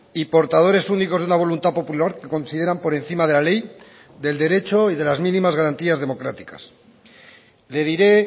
y portadores únicos de una voluntad popular que consideran por encima de la ley del derecho y de las mínimas garantías democráticas le diré